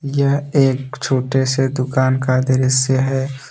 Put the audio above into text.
यह एक छोटे से दुकान का दृश्य है।